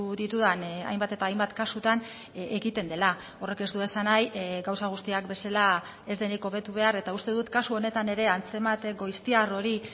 ditudan hainbat eta hainbat kasutan ekiten dela horrek ez du esan nahi gauza guztiak bezala ez denik hobetu behar eta uste dut kasu honetan ere antzemate goiztiar hori